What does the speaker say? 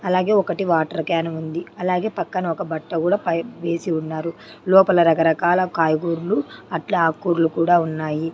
అలాగే ఒకటి water can ఉంది అలాగే పక్కన ఒక బట్ట కూడా వేసి ఉన్నారు లోపల రక రకాల కాయగూరలు అట్లా అక్కూరలు కూడా ఉన్నాయి.